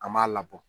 An m'a labɔ